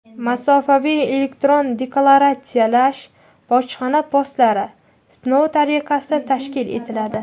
"Masofaviy elektron deklaratsiyalash bojxona postlari" sinov tariqasida tashkil etiladi;.